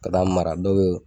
Ka t'a mara dɔw bɛ